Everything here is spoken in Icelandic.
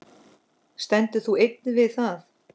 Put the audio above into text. Stendur þú enn við það?